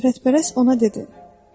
Şöhrətpərəst ona dedi: